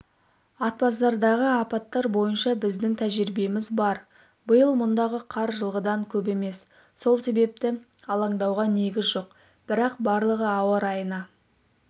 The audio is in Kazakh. атбасардағы апаттар бойынша біздің тәжірибеміз бар биыл мұндағы қар жылғыдан көп емес сол себепті алаңдауға негіз жоқ бірақ барлығы ауа райына